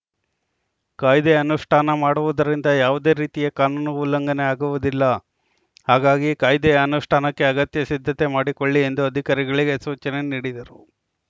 ಕಾಯ್ದೆ ಅನುಷ್ಠಾನ ಮಾಡುವುದರಿಂದ ಯಾವುದೇ ರೀತಿಯ ಕಾನೂನು ಉಲ್ಲಂಘನೆ ಆಗುವುದಿಲ್ಲ ಹಾಗಾಗಿ ಕಾಯ್ದೆಯ ಅನುಷ್ಠಾನಕ್ಕೆ ಅಗತ್ಯ ಸಿದ್ಧತೆ ಮಾಡಿಕೊಳ್ಳಿ ಎಂದು ಅಧಿಕಾರಿಗಳಿಗೆ ಸೂಚನೆ ನೀಡಿದರು